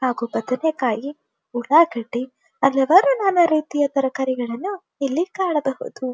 ಹಾಗು ಬದನೆಕಾಯಿ ಉಳ್ಲಗೆದ್ದಿ ಹಲವಾರು ನಾನಾ ರೀತಿಯ ತರಕಾರಿಗಳನ್ನು ಇಲ್ಲಿ ಕಾಣಬಹುದು.